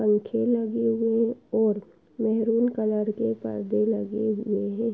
पंखे लगे हुए ओर मेहरून कलर के पर्दे लगे हुए हैं ।